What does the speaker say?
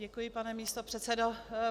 Děkuji, pane místopředsedo.